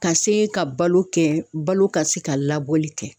Ka se ka balo kɛ balo ka se ka labɔli kɛ